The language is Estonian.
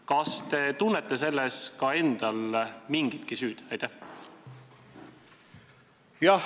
Kas te tunnete selles ka endal mingitki süüd?